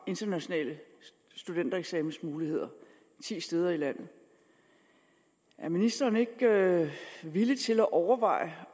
international studentereksamen ti steder i landet er ministeren ikke villig til at overveje